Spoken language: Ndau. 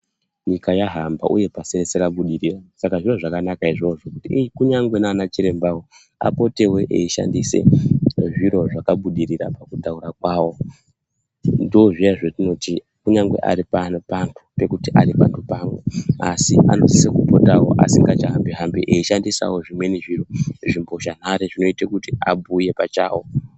Nyika yahamba uye pasi rese rabudirira saka zviro zvakanaka izvozvo kuti kunyngwe nana chirembawo apotewo eishandise zviro zvakabudirira pakutaura kwawo ndozviyana zvetinoti kunyangwe aripano oandu pekuti aariandu pamwe asi anosise kupotawo asingachahambi hambi eishandisawo zvimweni zviro zvikosha nhare zvinoita kuti abhuye oachawo.